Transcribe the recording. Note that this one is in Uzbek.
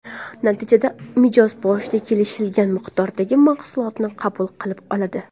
Natijada mijoz boshida kelishilgan miqdordagi mahsuoltni qabul qilib oladi.